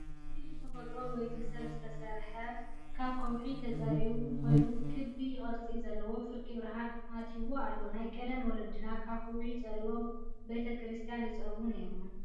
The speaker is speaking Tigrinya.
እዚ ብተፈጥሮ ወይ ብሰብ ዝተሰርሒ ካብ ከውሒ ተፀሪቡ ኮይኑ ክብ ቅርፂ ዘለዎ ፍርቂ ብርሃን ኣትዎ ኣሎ። ናይ ቀደም ወለድና ካብ ከውሒ ፀሪቦም ቤተ-ክሪስትያን ይፀርቡ ነይሮም።